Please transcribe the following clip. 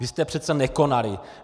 Vy jste přece nekonali.